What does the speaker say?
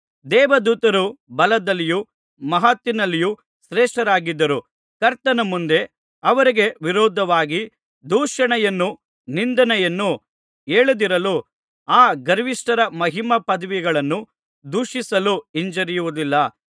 ದೇವದೂತರು ಬಲದಲ್ಲಿಯೂ ಮಹತ್ತಿನಲ್ಲಿಯೂ ಶ್ರೇಷ್ಠರಾಗಿದ್ದರೂ ಕರ್ತನ ಮುಂದೆ ಅವರಿಗೆ ವಿರೋಧವಾಗಿ ದೂಷಣೆಯನ್ನು ನಿಂದೆಯನ್ನು ಹೇಳದಿರಲು ಆ ಗರ್ವಿಷ್ಠರು ಮಹಿಮಾಪದವಿಗಳನ್ನು ದೂಷಿಸಲು ಹಿಂಜರಿಯುವುದಿಲ್ಲ